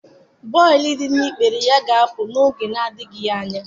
Bọịlụ dị na ikpere ya ga-apụ n'anya n'oge adịghị anya